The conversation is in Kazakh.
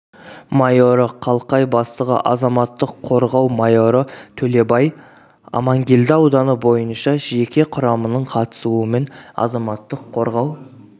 майоры қалқай бастығы азаматтық қорғау майоры төлебай амангелді ауданы бойынша жеке құрамының қатысуымен азаматтық қорғау